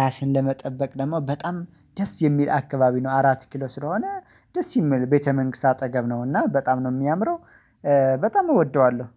ራስን ለመጠበቅ ደግሞ በጣም ደስ የሚል አካባቢ ነው አራት ኪሎ ስለሆነ ደስ የሚል ቤተ መንግስት አጠገብ ነውና በጣም ነው የሚያምረው። በጣም እወደዋለሁ